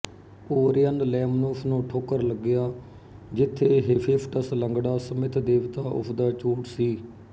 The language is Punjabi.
ਓਰਿਅਨ ਲੈਮਨੋਸ ਨੂੰ ਠੋਕਰ ਲੱਗਿਆ ਜਿਥੇ ਹੇਫ਼ੇਸਟਸ ਲੰਗੜਾ ਸਮਿੱਥਦੇਵਤਾ ਉਸਦਾ ਝੂਠ ਸੀ